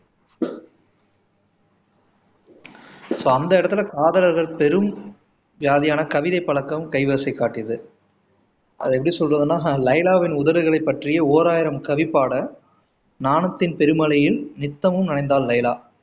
so அந்த இடத்துல காதலர்கள் பெரும் வியாதியான கவிதைப் பழக்கம் கைவரிசை காட்டியது அதை எப்படி சொல்றதுனா லைலாவின் உதடுகளை பற்றி ஓராயிரம் கவி பாட நாணத்தின் பெருமழையில் நித்தமும் நனைந்தால் லைலா